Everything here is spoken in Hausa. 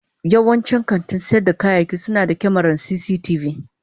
Yawancin kantin sayar da kayayyaki suna da kyamarar cctv.